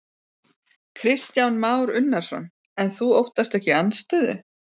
Kristján Már Unnarsson: En þú óttast ekki andstöðu?